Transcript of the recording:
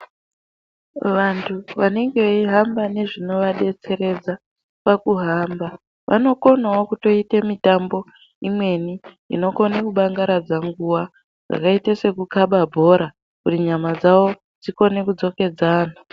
Vantu vanenge veihamba nezvinovadetseredza pakuhamba vanokonawo kutoita mitambo imweni inokone kudangaradza nguwa yakaite sekukaba bhora kuti nyama dzawo dzikone kudzokedzana.